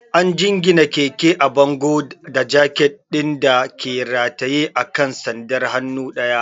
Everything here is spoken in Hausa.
An jingine keke a bango da jaket ɗin da ke rataye a kan sandar hannu ɗaya.